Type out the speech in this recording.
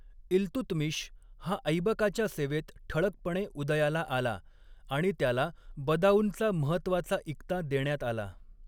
इल्तुतमिश हा ऐबकाच्या सेवेत ठळकपणे उदयाला आला आणि त्याला बदाऊनचा महत्त्वाचा इक्ता देण्यात आला.